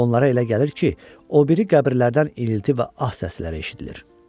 Onlara elə gəlir ki, o biri qəbirlərdən inilti və ah səsləri eşidilir.